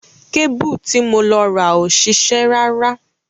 Kébùù tí mo lọ rà ò ṣiṣẹ́ rárá.